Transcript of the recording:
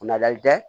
Kunnayi dɛ